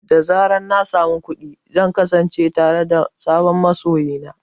Da zarar na sami kuɗi, zan kasance tare da sabon masoyi na.